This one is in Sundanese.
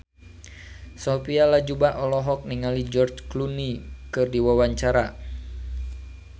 Sophia Latjuba olohok ningali George Clooney keur diwawancara